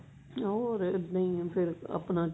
ਹੋਰ ਇੱਦਾਂ ਹੀ ਹੈ ਫ਼ੇਰ ਆਪਣਾ